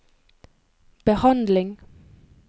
behandling